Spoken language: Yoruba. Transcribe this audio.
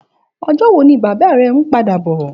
Òjò wó ni bàbá rè n pàdá bò?